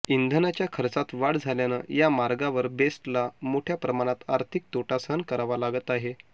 इंधनाच्या खर्चात वाढ झाल्यानं या मार्गावर बेस्टला मोठ्या प्रामाणात आर्थिक तोटा सहन करावा लागत आहे